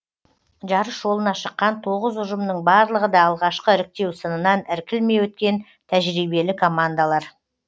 жарыс жолына шыққан тоғыз ұжымның барлығы да алғашқы іріктеу сынынан іркілмей өткен тәжірибелі командалар